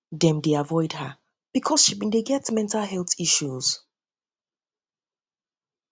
dem dey avoid her because she bin dey get mental health issues